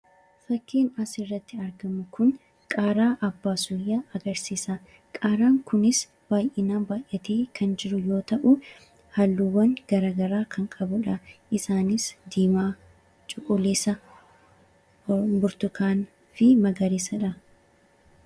Fakkii asirratti arginu kun qaaraa abbaa sooyyaa agarsiisa. Qaaraan kunis baay'inaan baay'atee kan jiru yoo ta'u, halluuwwan isaaniis: diimaa, magariisa, burtukaanawaa fi keelloodha.